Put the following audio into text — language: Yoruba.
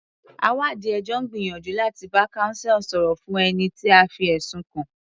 Àwáàdí ẹjọ́ ń gbìyànjú láti bá counsel sọ̀rọ̀ fún ẹni tí a fi ẹ̀sùn kàn.